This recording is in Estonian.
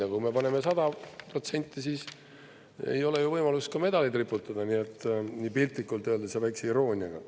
Aga kui me paneme 100% – ei ole ju võimalust medaleid riputada, piltlikult öeldes ja väikese irooniaga.